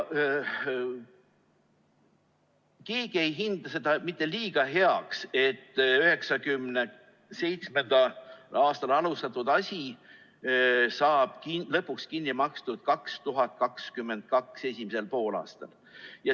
Keegi ei hinda seda mitte liiga heaks, et 1997. aastal alustatud asi saab lõpuks kinni makstud 2022. aasta esimesel poolaastal.